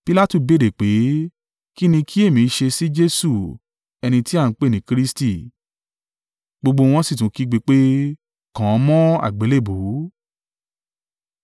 Pilatu béèrè pé, “Kí ni kí èmi ṣe sí Jesu ẹni ti a ń pè ní Kristi?” Gbogbo wọn sì tún kígbe pé, “Kàn án mọ́ àgbélébùú!”